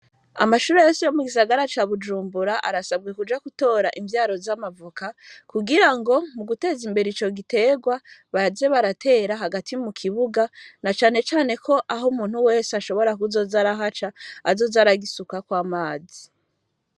Amashuri yose yo mugisagara ca bujumbura arasabwa kuja gutora ivyara za mavoka kugira ngo muguteza imbere ico giterwa baze baratera hagati mukibuga, na cane cane aho umuntu wese ashobora kuzoza arahaca azoze aragisukako amazi.